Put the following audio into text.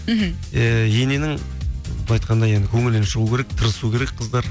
мхм иә ененің былай айтқанда енді көңілінен шығу керек тырысу керек қыздар